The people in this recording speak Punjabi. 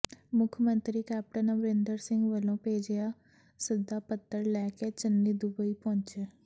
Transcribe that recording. ਮੁੱਖ ਮੰਤਰੀ ਕੈਪਟਨ ਅਮਰਿੰਦਰ ਸਿੰਘ ਵਲੋਂ ਭੇਜਿਆ ਸੱਦਾ ਪੱਤਰ ਲੈ ਕੇ ਚੰਨੀ ਦੁਬਈ ਪਹੁੰਚੇ